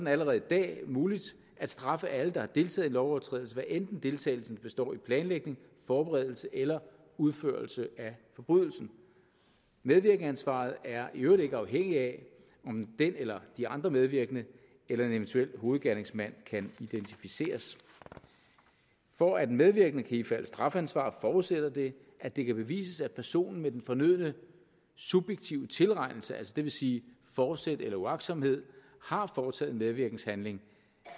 allerede i dag muligt at straffe alle der har deltaget lovovertrædelse hvad enten deltagelsen består i planlægning forberedelse eller udførelse af forbrydelsen medvirkensansvaret er i øvrigt ikke afhængig af om den eller de andre medvirkende eller en eventuel hovedgerningsmand kan identificeres for at den medvirkende kan ifalde strafansvar forudsætter det at det kan bevises at personen med den fornødne subjektive tilregnelse det vil sige fortsæt eller uagtsomhed har foretaget en medvirkenshandling